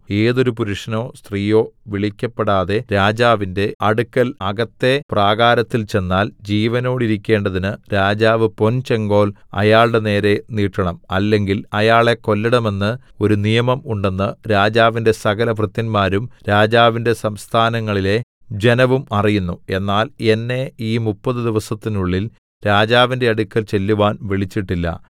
ഏതൊരു പുരുഷനോ സ്ത്രീയോ വിളിക്കപ്പെടാതെ രാജാവിന്റെ അടുക്കൽ അകത്തെ പ്രാകാരത്തിൽ ചെന്നാൽ ജീവനോടിരിക്കേണ്ടതിന് രാജാവ് പൊൻചെങ്കോൽ അയാളുടെ നേരെ നീട്ടണം അല്ലെങ്കിൽ അയാളെ കൊല്ലേണമെന്ന് ഒരു നിയമം ഉണ്ടെന്ന് രാജാവിന്റെ സകലഭൃത്യന്മാരും രാജാവിന്റെ സംസ്ഥാനങ്ങളിലെ ജനവും അറിയുന്നു എന്നാൽ എന്നെ ഈ മുപ്പത് ദിവസത്തിനുള്ളിൽ രാജാവിന്റെ അടുക്കൽ ചെല്ലുവാൻ വിളിച്ചിട്ടില്ല